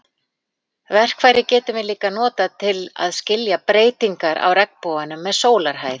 Verkfærið getum við líka notað til að skilja breytingar á regnboganum með sólarhæð.